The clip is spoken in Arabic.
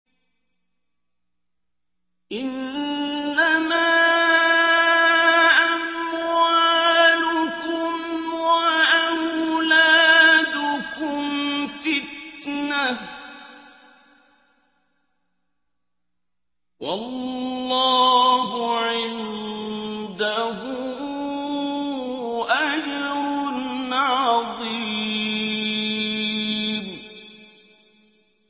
إِنَّمَا أَمْوَالُكُمْ وَأَوْلَادُكُمْ فِتْنَةٌ ۚ وَاللَّهُ عِندَهُ أَجْرٌ عَظِيمٌ